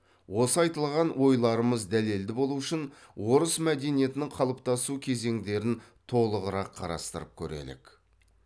осы айтылған ойларымыз дәлелді болу үшін орыс мәдениетінің қалыптасу кезеңдерін толығырақ қарастырып көрелік